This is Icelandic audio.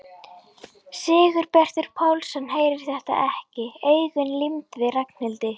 Sigurbjartur Pálsson heyrir þetta ekki, augun límd við Ragnhildi